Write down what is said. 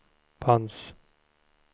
fanns